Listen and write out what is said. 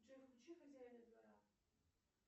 джой включи хозяина двора